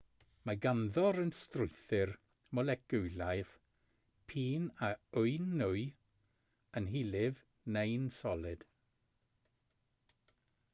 mae ganddo'r un strwythur moleciwlaidd p'un a yw'n nwy yn hylif neu'n solid